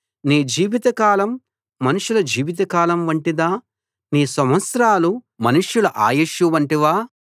నీ జీవితకాలం మనుషుల జీవితకాలం వంటిదా నీ సంవత్సరాలు మనుషుల ఆయుష్షు వంటివా